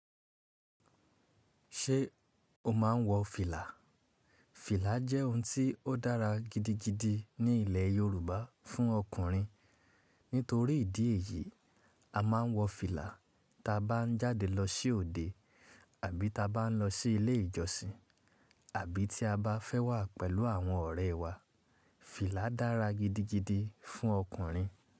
Ṣé o máa ń wọ fìlà? Fìlà jẹ́ ohun tí ó dára gidigidi ní ilẹ̀ Yorùbá fún ọkùnrin. Nítorí ìdí èyí, a máa ń wọ fìlà táa bá ń jáde lọ sí òde àbí táa bá ń lọ sí ilé ìjọsìn, àbí tí a bá fẹ́ wà pẹ̀lú àwọn ọ̀rẹ́ wa. Fìlà dára gidigidi fún ọkùnrin.